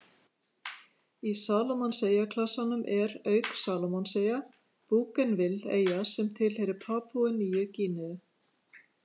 Í Salómonseyjaklasanum er, auk Salómonseyja, Bougainville-eyja sem tilheyrir Papúu-Nýju Gíneu.